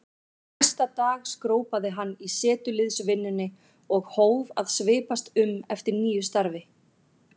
Næsta dag skrópaði hann í setuliðsvinnunni og hóf að svipast um eftir nýju starfi.